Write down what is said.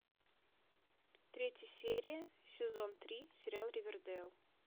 третья серия сезон три сериал ривердейл